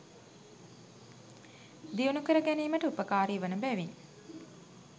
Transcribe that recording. දියුණු කර ගැනීමට උපකාරී වන බැවින්